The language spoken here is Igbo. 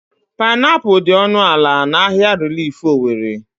Painapụl dị ọnụ ala n'ahia rilif Owere.